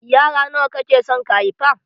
Yara nawa kake son ka haifa?